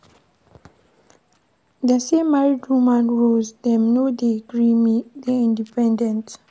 Dese married woman roles dem no dey gree me dey independent.